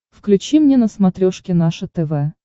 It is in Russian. включи мне на смотрешке наше тв